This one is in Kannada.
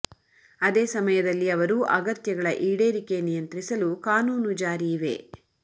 ಅದೇ ಸಮಯದಲ್ಲಿ ಅವರು ಅಗತ್ಯಗಳ ಈಡೇರಿಕೆ ನಿಯಂತ್ರಿಸಲು ಕಾನೂನು ಜಾರಿ ಇವೆ